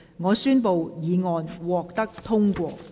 我宣布議案獲得通過。